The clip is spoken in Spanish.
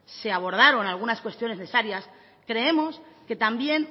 se abordaron algunas cuestiones necesarias creemos que también